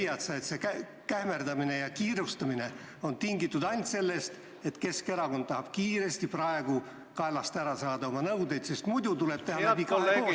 Ja kas sa leiad, et see kähmerdamine ja kiirustamine on tingitud ainult sellest, et Keskerakond tahab kiiresti praegu kaelast ära saada oma nõudeid, sest muidu tuleb teha läbi kahe koosseisu ...